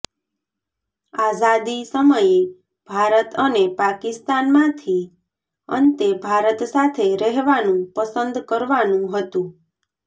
આઝાદી સમયે ભારત અને પાકિસ્તાનમાંથી અંતે ભારત સાથે રહેવાનું પસંદ કરવાનું હતું